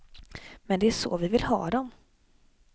Men det är så vi vill ha dem.